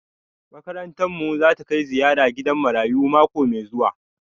Makarantar mu zata kai ziyara gidan marayu mako mai zuwa